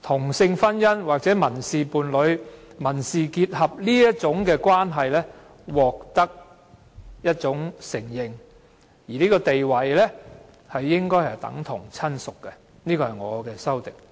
同性婚姻、民事伴侶或民事結合的關係獲得承認及地位應等同親屬，而這就是我提出的修正案。